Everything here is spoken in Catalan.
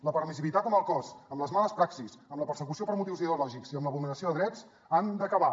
la permissivitat amb el cos amb les males praxis amb la persecució per motius ideològics i amb la vulneració de drets han d’acabar